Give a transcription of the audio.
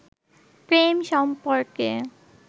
প্রেম সম্পর্কে